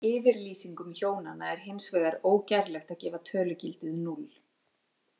Yfirlýsingum hjónanna er hins vegar ógerlegt að gefa tölugildið núll.